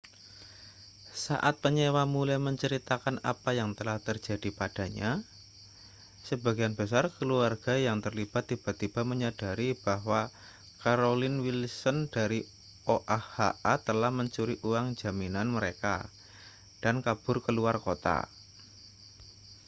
saat penyewa mulai menceritakan apa yang telah terjadi padanya sebagian besar keluarga yang terlibat tiba-tiba menyadari bahwa carolyn wilson dari oha telah mencuri uang jaminan mereka dan kabur ke luar kota